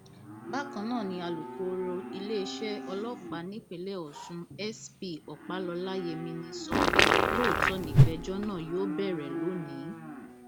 bákan náà ni alūkkoro iléeṣẹ ọlọpàá nípìnlẹ ọsùn s p ọpálọlá yemini sọ pé lóòótọ nìgbẹjọ náà yóò bẹrẹ lónìí